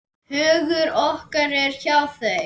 Hugur okkar er hjá þeim.